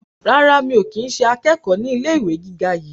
rárá, mi ò kí ń ṣe akẹ́kọ̀ọ́ ní ilé ìwé àgbà yi